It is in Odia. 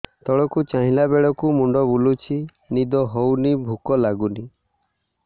ତଳକୁ ଚାହିଁଲା ବେଳକୁ ମୁଣ୍ଡ ବୁଲୁଚି ନିଦ ହଉନି ଭୁକ ଲାଗୁନି